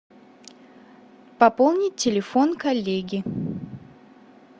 пополнить телефон коллеги